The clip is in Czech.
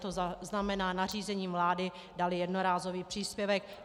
To znamená nařízením vlády dát jednorázový příspěvek.